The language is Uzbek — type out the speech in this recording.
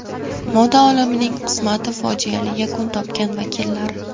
Moda olamining qismati fojiali yakun topgan vakillari .